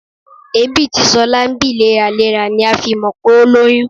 Èébì tí ṣọlá ń bì léraléra ni a fi mọ̀ pé o lóyún